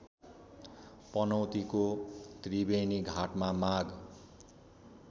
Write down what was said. पनौतीको त्रिवेणीघाटमा माघ